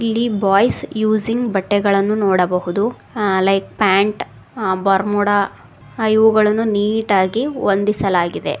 ಇಲ್ಲಿ boys using ಬಟ್ಟೆಗಳನ್ನು ನೋಡಬಹುದು ಆ ಲೈಕ್ ಪ್ಯಾಂಟ್ ಬರ್ಮುಡ ಇವುಗಳನ್ನು ನೀಟ್ ಹಾಗಿ ಹೊಂದಿಸಲಾಗಿದೆ.